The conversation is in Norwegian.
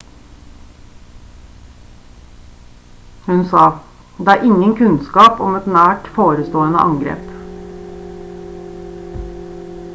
hun sa: «det er ingen kunnskap om et nært forestående angrep